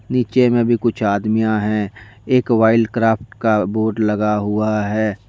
नीचे में भी कुछ आदमियां है एक वाइल्ड क्राफ्ट का बोर्ड लगा हुआ हैं।